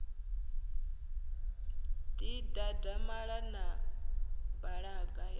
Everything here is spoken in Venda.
ḓi dadamala na balaga ya